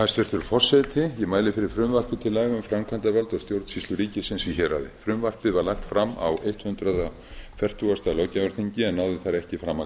hæstvirtur forseti ég mæli fyrir frumvarpi til laga um framkvæmdavald og stjórnsýslu ríkisins í héraði frumvarpið var lagt fram á hundrað fertugasta löggjafarþingi en náði þar ekki fram að